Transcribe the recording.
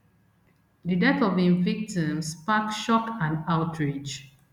di death of im victims spark shock and outrage